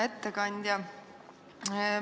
Hea ettekandja!